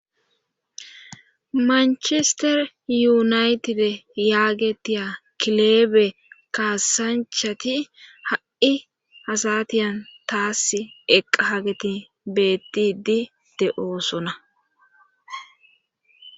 manchester yuunaytide yaagetiya kileebe kaasanchati ha7i asatiyan taas eqqahageti beettidi de7oosona